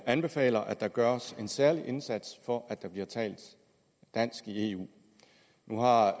anbefaler at der gøres en særlig indsats for at der bliver talt dansk i eu nu har